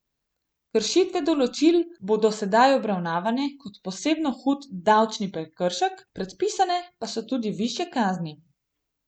Kršitve določil bodo sedaj obravnavane kot posebno hud davčni prekršek, predpisane pa so tudi višje kazni.